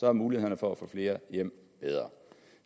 er muligheden for at få flere hjem bedre